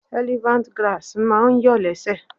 Elephant Grass máa ǹ yọ̀ lẹ́sẹ̀.